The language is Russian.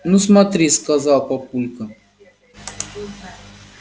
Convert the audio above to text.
ну смотри сказал папулька